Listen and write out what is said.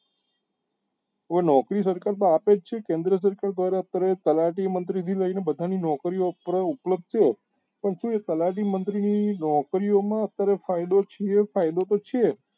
એ નોકરી પણ આપે જ છે કેન્દ્ર સરકાર દ્વારા અત્યારે તલાટી મંત્રી થી લઇ ને અત્યારે નોકરીઓ ઉપલબ્ધ છે તો એ તલાટી મંત્રી ની નોકરી માં અત્યારે ફાયદો છે એ ફાયદો તો છે જ